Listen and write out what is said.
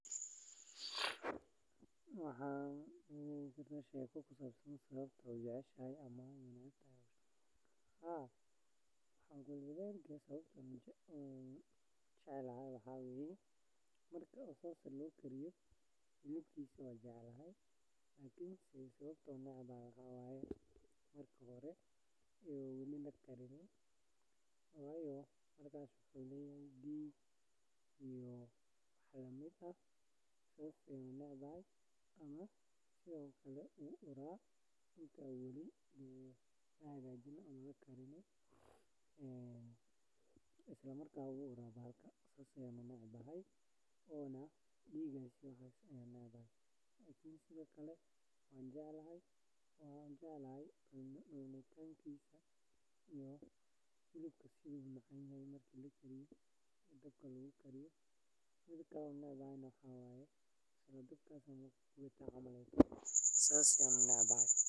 Waxan shekada kusabsantahay sawabta ujeceshoho waxan ujecelahay hilibkisa wanjecelahay lakin sawabto eh maxa waye marka u hore muxu leyahay dig sithokale wu ura isla markas nah wu ura sas ayan u necbaya sithokale wanjeclahay cunitankisa marki lakariyo dabka lagu kariyo marka kalana waxan u necbaha dabka lasarayo sas ayan unecbahay.